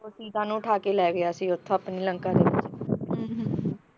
ਸੀਤਾ ਨੂੰ ਉਠਾਕੇ ਲੈ ਗਿਆ ਸੀ ਉਥੋਂ ਆਪਣੀ ਲੰਕਾ ਨੂੰ